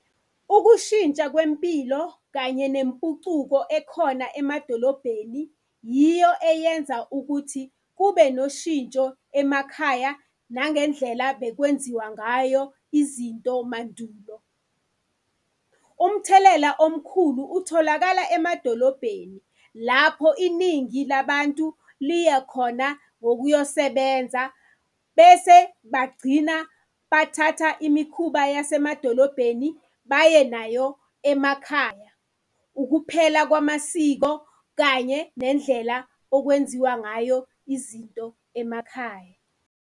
Ukushintsha kwempilo kanye nempucuko ekhona emadolobheni yiyo eyenza ukuthi kube noshintsho emakhaya nangendlela bekwenziwa ngayo izinto mandulo. Umthelela omkhulu utholakala emadolobheni lapho iningi labantu liyakhona ngokuyosebenza, bese bagcina bathatha imikhuba yasemadolobheni baye nayo emakhaya. Ukuphela kwamasiko kanye nendlela okwenziwa ngayo izinto emakhaya.